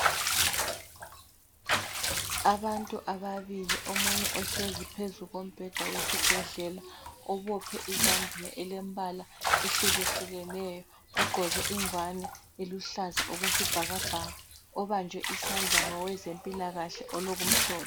Abantu ababili omunye ohlezi phezu kombheda wesibhedlela obophe izambiya elembala ehlukehlukeneyo ogqoke ingwani eluhlaza okwesibhakabhaka obanjwe isandla ngowezempilakahle olokumhlophe.